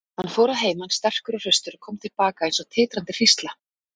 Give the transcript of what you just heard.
Hann fór að heiman sterkur og hraustur og kom til baka eins og titrandi hrísla.